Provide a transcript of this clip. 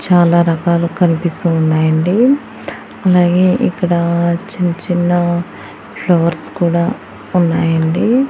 చాలా రకాలు కనిపిస్తూ ఉన్నాయండి అలాగే ఇక్కడ చిన్ చిన్న ఫ్లవర్స్ కూడా ఉన్నాయండి.